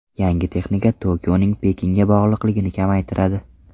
Yangi texnika Tokioning Pekinga bog‘liqligini kamaytiradi.